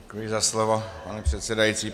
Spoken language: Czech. Děkuji za slovo pane předsedající.